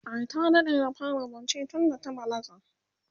ai ta daɗe da fara zance tunda ta balaga